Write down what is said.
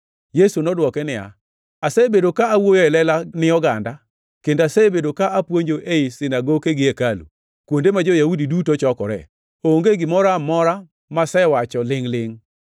Yesu nodwoke niya, “Asebedo ka awuoyo e lela ni oganda, kendo asebedo ka apuonjo ei sinagoke gi hekalu, kuonde ma jo-Yahudi duto chokoree. Onge gimoro amora masewacho lingʼ-lingʼ.